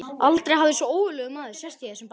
Aldrei hafði svo ógurlegur maður sést í þessum bæ.